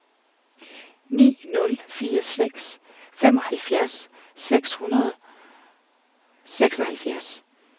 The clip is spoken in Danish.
ni nul fire seks femoghalvfjerds seks hundrede og seksoghalvfjerds